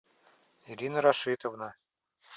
ирина рашитовна